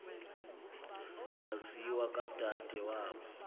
wasiwa kwadade wabo